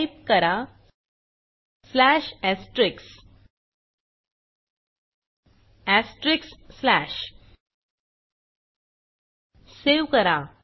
type करा save करा